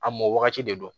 A mɔ wagati de don